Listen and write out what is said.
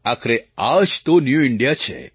આખરે આ જ તો ન્યૂ ઇન્ડિયા છે